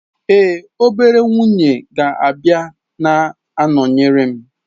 Ee, obere nwunye ga-abịa na-anọnyere m.